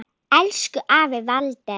Elsku afi Walter.